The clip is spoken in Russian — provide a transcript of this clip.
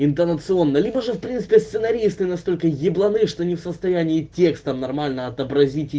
интонационно либо же в принципе сценаристы настолько ебланы что не в состоянии текстом нормально отобразить и